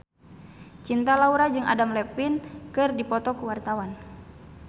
Cinta Laura jeung Adam Levine keur dipoto ku wartawan